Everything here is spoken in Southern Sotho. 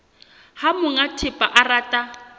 ha monga thepa a rata